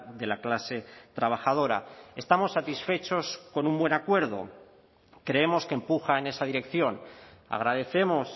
de la clase trabajadora estamos satisfechos con un buen acuerdo creemos que empuja en esa dirección agradecemos